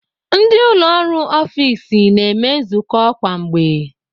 Ndị ụlọ ọrụ n'ọfiks na-eme nzukọ kwa mgbe.